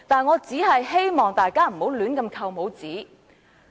我只是希望大家不要亂扣帽子。